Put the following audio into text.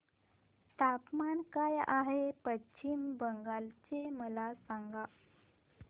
तापमान काय आहे पश्चिम बंगाल चे मला सांगा